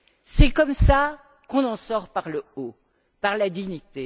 C'est comme cela qu'on en sort par le haut, par la dignité.